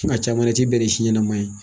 Ko nga caman na i ti bɛn ni si ɲanaman ye.